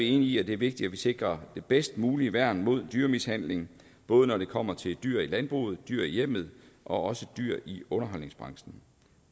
enige i at det er vigtigt at vi sikrer det bedst mulige værn mod dyremishandling både når det kommer til dyr i landbruget dyr i hjemmet og også dyr i underholdningsbranchen